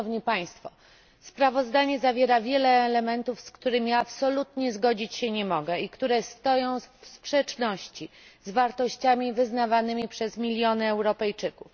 To sprawozdanie zawiera wiele elementów, z którymi ja absolutnie zgodzić się nie mogę i które stoją w sprzeczności z wartościami wyznawanymi przez miliony Europejczyków.